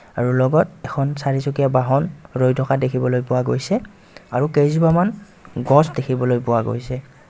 আৰু লগত এখন চাৰি চকীয়া বহন ৰৈ থকা দেখিবলৈ পোৱা গৈছে আৰু কেইজোপামান গছ দেখিবলৈ পোৱা গৈছে.